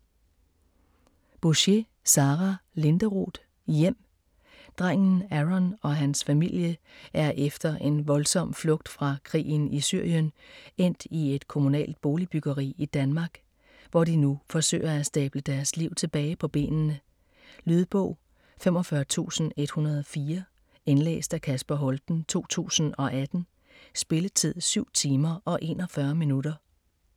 Bouchet, Sara Linderoth: Hjem Drengen Aron og hans familie er efter en voldsom flugt fra krigen i Syrien endt i et kommunalt boligbyggeri i Danmark, hvor de nu forsøger at stable deres liv tilbage på benene. Lydbog 45104 Indlæst af Kasper Holten, 2018. Spilletid: 7 timer, 41 minutter.